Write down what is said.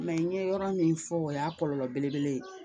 n ye yɔrɔ min fɔ o y'a kɔlɔlɔ belebele ye